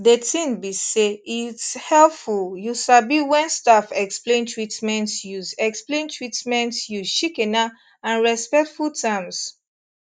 de tin be say its helpful you sabi wen staff explain treatments use explain treatments use shikena and respectful terms